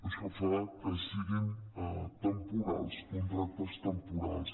això fa que siguin temporals contractes temporals